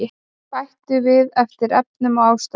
Bætum við eftir efnum og ástæðum